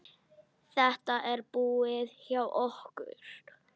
Þetta er búið hjá okkur!